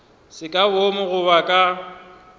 se ka boomo goba ka